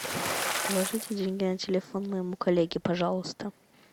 положите деньги на телефон моему коллеге пожалуйста